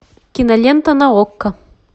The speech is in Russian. кинолента на окко